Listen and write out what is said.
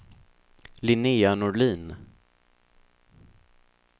Linnéa Norlin